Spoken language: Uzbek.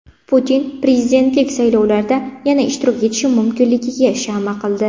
Putin prezidentlik saylovlarida yana ishtirok etishi mumkinligiga shama qildi.